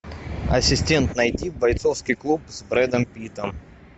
ассистент найди бойцовский клуб с брэдом питтом